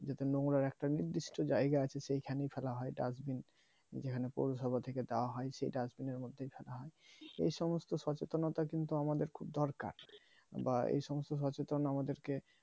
যাতে নোংরার একটা নির্দিষ্ট জায়গা আছে সেখানে ফেলা হয় dustbin যেখানে পৌরসভা থেকে দেওয়া হয় সেটা আসলে এর মধ্যে ফেলা হয় এই সমস্ত সচেতনতা কিন্তু আমাদের খুব দরকার বা এই সমস্ত সচেতন আমাদেরকে।